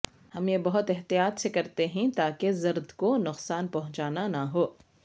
ہم یہ بہت احتیاط سے کرتے ہیں تاکہ زرد کو نقصان پہنچانا نہ ہو